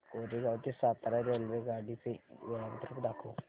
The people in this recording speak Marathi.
कोरेगाव ते सातारा रेल्वेगाडी चे वेळापत्रक दाखव